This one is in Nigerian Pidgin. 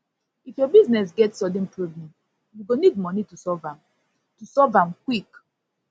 if your business get sudden problem you go need moni to solve am to solve am quick